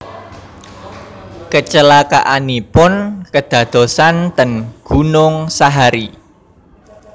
Kecelakaanipun kedadosan ten Gunung Sahari